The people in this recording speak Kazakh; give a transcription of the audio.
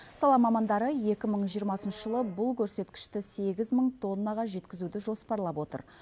сала мамандары екі мың жиырмасыншы жылы бұл көрсеткішті сегіз мың тоннаға жеткізуді жоспарлап отыр